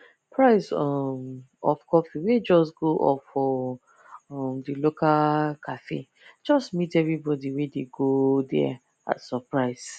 price um of coffee wey just go up for um the local cafe just meet everybody wey dey go there as surprise